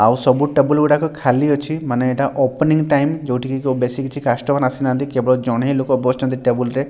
ଆଉ ସବୁ ଟେବୁଲ୍ ଗୁଡାକ ଖାଲି ଅଛି ମାନେ ଏଟା ଓପନିଙ୍ଗ୍ ଟାଇମ୍ ଯୋଉଠି କି କୋଉ ବେଶୀ କିଛି କାଷ୍ଟମର୍ ଆସିନାହାନ୍ତି କେବଳ ଜଣେ ହିଁ ଲୋକ ବସଚନ୍ତି ଟେବୁଲ୍ ରେ।